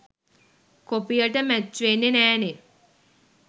කොපියට match වෙන්නෙ නෑනේ